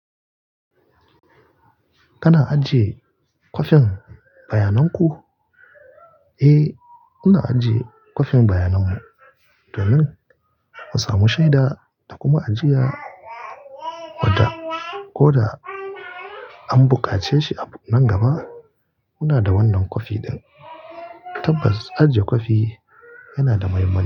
Kana ajiye kwafin bayanan ku? Eh, muna ajiye kwafin bayanan mu domin ka samu shaida da kuma ajiya. Ko da, ko da an bukace shi nan gaba, muna da wannan kwafi ɗin. Tabbas, ajiye kwafi yana da muhimmanci.